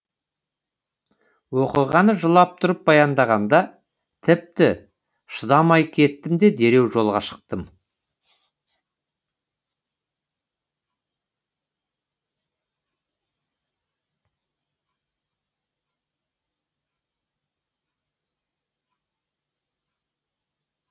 оқиғаны жылап тұрып баяндағанда тіпті шыдамай кеттім де дереу жолға шықтым